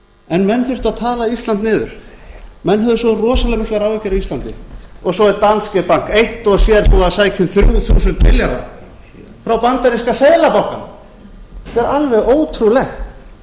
en menn þurftu að tala ísland niður menn höfðu svo rosalega miklar áhyggjur af íslandi og svo er danske bank eitt og sér búinn að sækja um þrjú þúsund milljarða frá bandaríska seðlabankanum þetta er alveg ótrúlegt